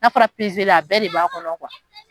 N'a fɔra a bɛɛ de b'a kɔnɔ